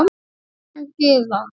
Ólína Gyða.